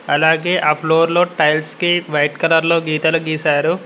అలాగే ఆ ఫ్లోర్లో టైల్స్ కి వైట్ కలర్ లో గీతలు గీశారు.